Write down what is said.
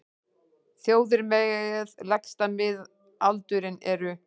Þjóðir með lægsta miðaldurinn eru: